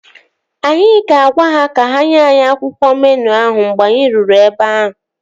Anyị ga-agwa ha ka ha nye anyị akwụkwọ meenụ ahụ mgbe anyị ruru ebe ahụ